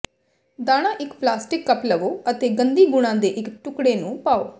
ਦਾਣਾ ਇੱਕ plastic cup ਲਵੋ ਅਤੇ ਗੰਦੀ ਗੁਣਾ ਦੇ ਇੱਕ ਟੁਕੜੇ ਨੂੰ ਪਾਓ